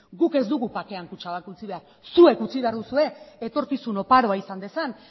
guk ez dugu bakean kutxabank utzi behar zuek utzi behar duzue etorkizun oparoa izan dezan